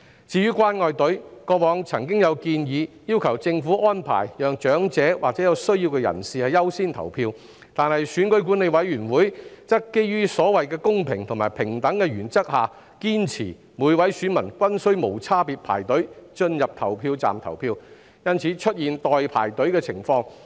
至於"關愛隊"，過往曾有建議要求政府安排讓長者或有需要的人士優先投票，但選舉管理委員會則基於所謂公平及平等的原則，堅持每位選民均須無差別排隊進入投票站投票，因此出現了"代排隊"的情況。